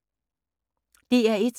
DR1